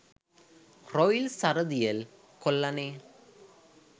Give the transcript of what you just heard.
Royal Saradiel කොල්ලනේ.